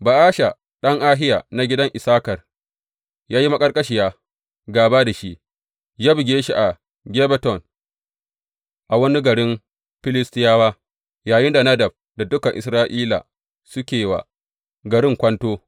Ba’asha ɗan Ahiya na gidan Issakar ya yi maƙarƙashiya gāba da shi, ya buge shi a Gibbeton, a wani garin Filistiyawa, yayinda Nadab da dukan Isra’ila suke wa garin kwanto.